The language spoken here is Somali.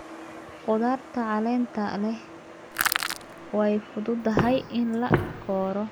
Khudaarta caleenta leh way fududahay in la koro.